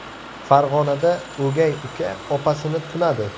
Farg‘onada o‘gay uka opasini tunadi.